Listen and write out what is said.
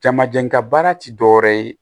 Jamajɛla baara ti dɔwɛrɛ ye